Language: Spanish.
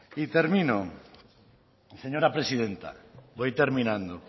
y termino señora presidenta voy terminando